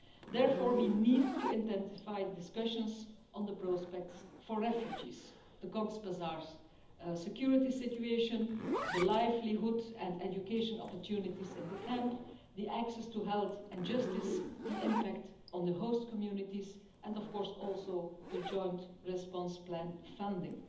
Therefore, we need to intensify discussions on the prospects for refugees, the Cox's Bazar security situation, the livelihood and education opportunities in the camps, the access to health and justice, the impact on the host communities and, of course, the Joint Response Plan funding.